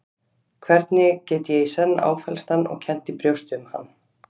Hvernig get ég í senn áfellst hann og kennt í brjósti um hann?